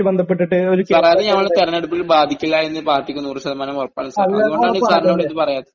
Sir, അത് ഞങ്ങൾ..തെരഞ്ഞെടുപ്പിൽ ബാധിക്കില്ലാ എന്ന് പാർട്ടിക്ക് 100% ഉറപ്പുനൽകുന്നു സാർ.. അതുകൊണ്ടാണ് സാറിനോട് ഇത് പറയാത്തത്.